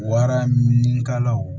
Wara minikalaw